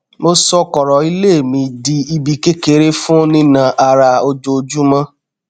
mo sọ kọrọ ilé mi di ibi kékeré fún nína ara ojoojúmọ